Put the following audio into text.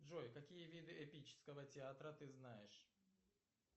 джой какие виды эпического театра ты знаешь